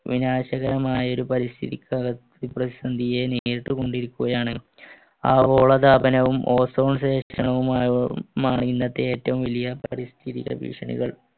വിനാശകരമായ ഒരു പരിസ്ഥിതിക്ക് നേരിട്ടുകൊണ്ടിരിക്കുകയാണ് ആഗോളതാപനവും ozone ഇന്നത്തെ ഏറ്റവും വലിയ പരിസ്ഥിതിടെ ഭീഷണികൾ